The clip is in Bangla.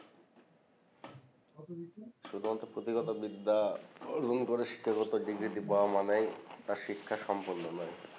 শুধুমাত্র পুথিগত বিদ্যা অর্জন করে শিক্ষাগত পাওয়া মানেই তার শিক্ষা সম্পূর্ণ নয়